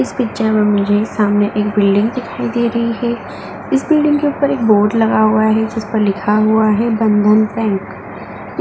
इस पिक्चर में मुझे सामने एक बिल्डिंग दिखाई दे रही है। इस बिल्डिंग के ऊपर बोर्ड लगा हुआ है। जिस पर लिखा हुआ है बंधन बैंक ।